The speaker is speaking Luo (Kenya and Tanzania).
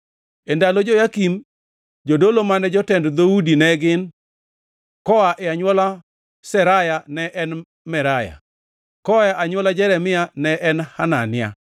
E ndalo Joyakim, jodolo mane jotend dhoudi ne gin: koa e anywola Seraya ne en Meraya; koa e anywola Jeremia ne en Hanania;